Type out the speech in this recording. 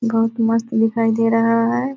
बुहत मस्त दिखाई दे रहा हैं।